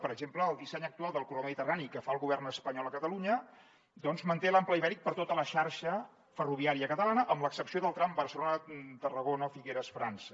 per exemple el disseny actual del corredor mediterrani que fa el govern espanyol a catalunya manté l’ample ibèric per a tota la xarxa ferroviària catalana amb l’excepció del tram barcelona tarragona figueres frança